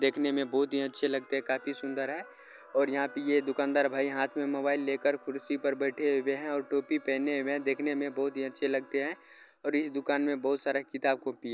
देखने में बहोत ही अच्छे लगते है काफी सुंदर है और यहाँ पे ये दुकानदार भाई हाथ में मोबाइल लेकर कुर्सी पर बेठे हुए है और टोपी पहने हुए है देखने में बहोत ही अच्छे लगते है और इस दुकान में बहोत सारा किताब कॉपी --